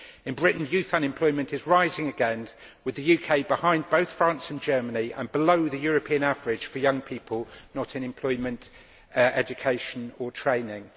In Britain, youth unemployment is rising again, with the UK behind both France and Germany and below the European average for young people not in employment, education or training.